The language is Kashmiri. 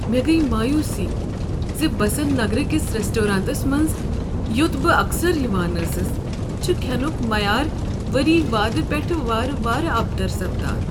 مےٚ گٔیہ مایوسی ز بسنٛت نگر کس ریسٹورانس منٛز، یوٚت بہٕ اکثر یوان ٲسٕس، چھ کھینک معیار ؤری وادو پٮ۪ٹھٕہٕ وارٕ وارٕ ابتر سپدان ۔